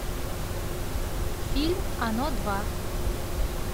фильм оно два